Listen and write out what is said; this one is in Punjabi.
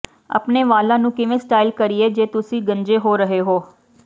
ਆਪਣੇ ਵਾਲਾਂ ਨੂੰ ਕਿਵੇਂ ਸਟਾਈਲ ਕਰੀਏ ਜੇ ਤੁਸੀਂ ਗੰਜੇ ਹੋ ਰਹੇ ਹੋ